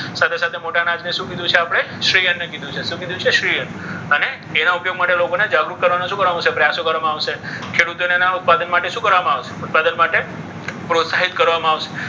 સાથે સાથે મોટા અનાજ ને શું કીધું છે આપણે? શ્રી અન્નને કીધું છે. શું કીધું છે? શ્રી અન્ન. અને એના ઉપયોગ માટે લોકોને જાગૃત કરવા માટે શું કરવાનું છે? પ્રયાસો કરવામાં આવશે. ખેડૂતોને એના ઉત્પાદન માટે શું કરવામાં આવશે? ઉત્પાદન માટે પ્રોત્સાહિત કરવામાં આવશે.